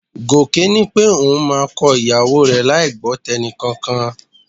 Gòkè ní pé òun máa kọ ìyàwó rẹ láì gbọ́ tẹnìkankan